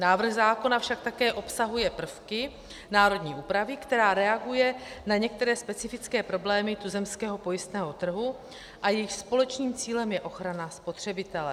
Návrh zákona však také obsahuje prvky národní úpravy, která reaguje na některé specifické problémy tuzemského pojistného trhu, a jejichž společným cílem je ochrana spotřebitele.